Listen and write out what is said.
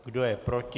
Kdo je proti?